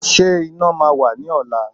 Ṣé iná máa wà ní ọ̀la?